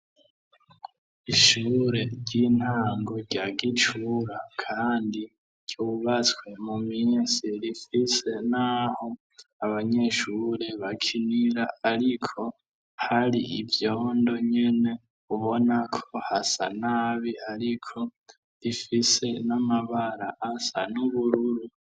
Ishure ry'intango rya Gicura kandi ryubatswe mu misi, rifise n'aho abanyeshure bakinira ariko hari ivyondo nyene ubonako hasa nabi, ariko rifise n'amabara asa n'ubururu.